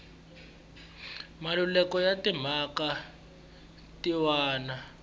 malukelo ya timhaka tin wana